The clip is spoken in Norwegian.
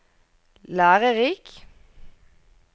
lærerik